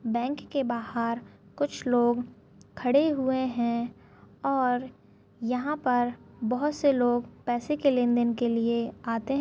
Bank के बाहर कुछ लोग खड़े हुए है और यहाँ पर बहोत से लोग पैसे की लेनदेन के लिए आते है।